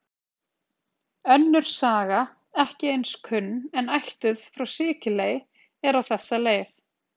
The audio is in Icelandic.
Önnur saga, ekki eins kunn, en ættuð frá Sikiley, er á þessa leið: